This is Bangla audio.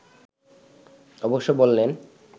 অবশ্য বললেন